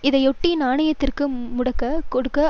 இதையொட்டி நாணயத்திற்கு முட்டு கொடுக்க